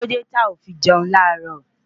Kíló dé tí o ò fi jẹun láàárọ̀?